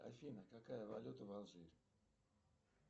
афина какая валюта в алжире